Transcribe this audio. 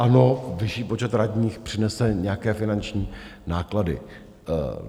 Ano, vyšší počet radních přinese nějaké finanční náklady.